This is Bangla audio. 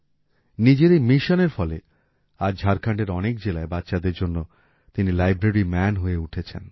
নিজের এই মিশনের ফলে আজ ঝাড়খণ্ডের অনেক জেলায় বাচ্চাদের জন্য তিনি লাইব্রেরি ম্যান হয়ে উঠেছেন